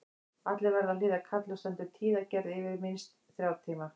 Allir verða að hlýða kalli og stendur tíðagerð yfir minnst þrjá tíma.